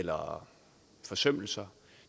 eller forsømmelser